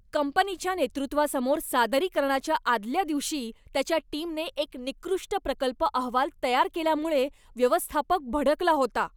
कंपनीच्या नेतृत्वासमोर सादरीकरणाच्या आदल्या दिवशी, त्याच्या टीमने एक निकृष्ट प्रकल्प अहवाल तयार केल्यामुळे व्यवस्थापक भडकला होता.